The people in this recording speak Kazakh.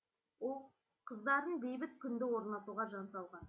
ұл қыздарын бейбіт күнді орнатуға жан салған